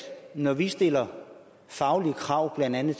når vi stiller faglige krav blandt andet